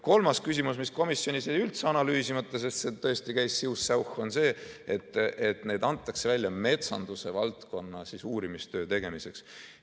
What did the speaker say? Kolmas küsimus, mis komisjonis jäi üldse analüüsimata, sest see tõesti käis siuh-säuh, on see, et need antakse välja metsanduse valdkonna uurimistöö tegemiseks.